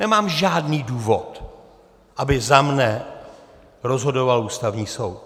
Nemám žádný důvod, aby za mne rozhodoval Ústavní soud.